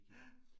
Ja